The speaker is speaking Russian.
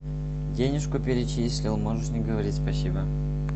денежку перечислил можешь не говорить спасибо